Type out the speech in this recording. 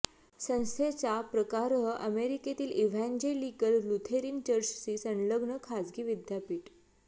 संस्थेचा प्रकारः अमेरिकेतील इव्हँजेलिकल लुथेरन चर्चशी संलग्न खाजगी विद्यापीठ